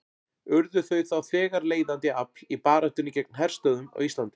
Urðu þau þá þegar leiðandi afl í baráttunni gegn herstöðvum á Íslandi.